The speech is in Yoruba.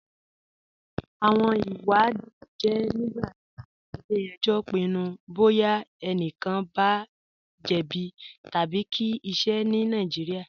Awọn ìwàdìí jẹ nígbàtí ilẹ̀-ẹ̀jọ̀ pinnu bọya ẹ̀nìkàn bá jẹ̀bí tabi kí ìṣẹ̀ ní Nàìjíríà.